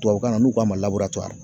Tubabukan na n'u k'a ma